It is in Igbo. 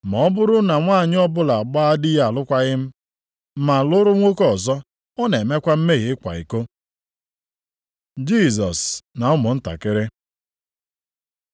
Ma ọ bụrụ na nwanyị ọbụla agbaa dị ya alụkwaghị m ma lụrụ nwoke ọzọ, ọ na-emekwa mmehie ịkwa iko.” Jisọs na ụmụntakịrị